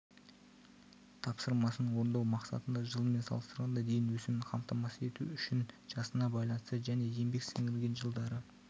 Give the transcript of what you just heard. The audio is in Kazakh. тапсырмасын орындау мақсатында жылмен салыстырғанда дейін өсімін қамтамасыз ету үшінжасына байланысты және еңбек сіңірген жылдары